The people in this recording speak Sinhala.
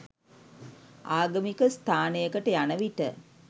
ආගමික ස්ථානයකට යන විට